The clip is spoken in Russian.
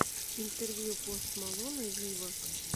интервью пост малона виво